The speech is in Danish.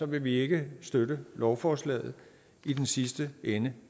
vil vi ikke støtte lovforslaget i den sidste ende